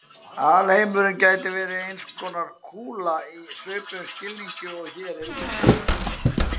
Alheimurinn gæti verið eins konar kúla í svipuðum skilningi og hér er lýst.